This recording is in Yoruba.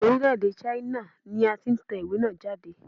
Orílè-èdè China ni a ti n tèwé náà jáde